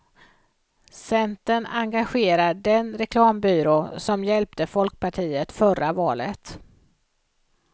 Centern engagerar den reklambyrå som hjälpte folkpartiet förra valet.